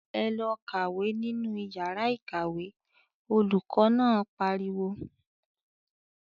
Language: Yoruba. "Ẹ lọ kàwé nínú ìyàrá-ìkàwé!" Olùkọ́ náà pariwo.